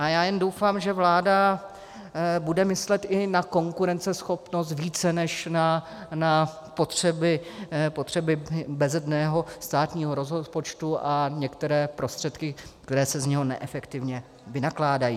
A já jen doufám, že vláda bude myslet i na konkurenceschopnost více než na potřeby bezedného státního rozpočtu a některé prostředky, které se z něho neefektivně vynakládají.